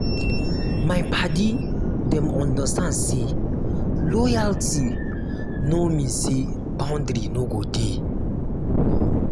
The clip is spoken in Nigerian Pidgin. my paddy dem understand sey loyalty no mean sey boundary no go dey.